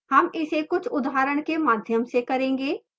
हम इसे कुछ उदाहरण के माध्यम से करेंगे